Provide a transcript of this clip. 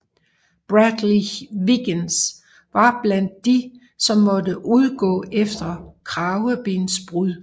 Bradley Wiggins var blandt de som måtte udgå efter kravebensbrud